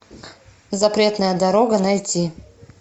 запретная дорога найти